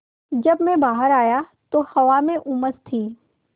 जब मैं बाहर आया तो हवा में उमस थी